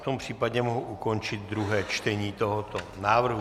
V tom případě mohu ukončit druhé čtení tohoto návrhu.